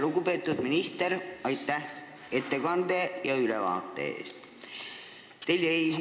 Lugupeetud minister, aitäh selle ülevaate eest!